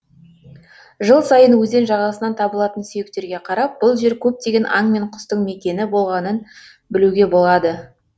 жыл сайын өзен жағасынан табылатын сүйектерге қарап бұл жер көптеген аң мен құстың мекені болғанын білуге болады